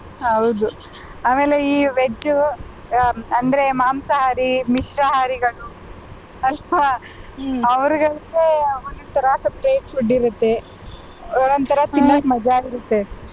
ಹೌದು ಆಮೇಲೆ ಈ veg ಹ್ಮ್ ಅಂದ್ರೆ ಮಾಂಸಹಾರಿ, ಮಿಶ್ರಹಾರಿಗಳು ಅವ್ರಿಗೊಂದು ಒಂದೊಂದ್ತರ separate food ಇರುತ್ತೆ ಒಂದೊಂದ್ತರ ತಿನ್ನಕ್ ಮಜಾ ಇರುತ್ತೆ.